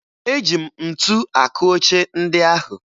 Eji m ntu akụ oche ndị ahụ